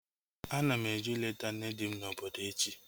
Ana m eje ileta nne di m na obodo echi